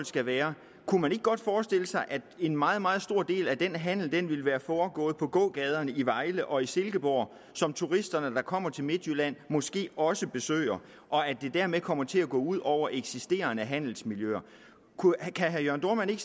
skal være kunne man ikke godt forestille sig at en meget meget stor del af den handel ville være foregået på gågaderne i vejle og i silkeborg som turisterne der kommer til midtjylland måske også besøger og at det dermed kommer til at gå ud over eksisterende handelsmiljøer kunne herre jørn dohrmann ikke